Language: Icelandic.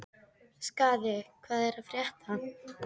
Skaði, hvað er að frétta?